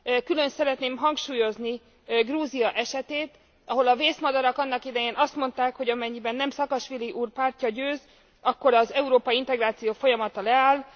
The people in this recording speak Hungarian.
Külön szeretném hangsúlyozni Grúzia esetét, ahol a vészmadarak annak idején azt mondták, hogy amennyiben nem Szakasvili úr pártja győz, akkor az európai integráció folyamata leáll.